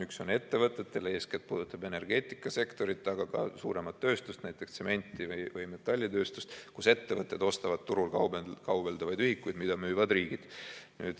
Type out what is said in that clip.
Üks on ettevõtetele, eeskätt puudutab energeetikasektorit, aga ka suuremat tööstust, näiteks tsemendi‑ või metallitööstust, kus ettevõtted ostavad turul kaubeldavaid ühikuid, mida müüvad riigid.